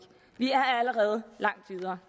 vi er allerede langt videre